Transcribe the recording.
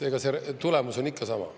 See tulemus on ikka sama.